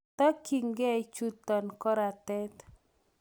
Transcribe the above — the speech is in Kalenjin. Tokyingei chuton koratet.